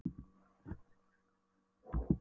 Við höfum alltaf verið ofsalega samrýndar.